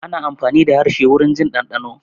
Ana amfani da harshe wurin jin ɗanɗano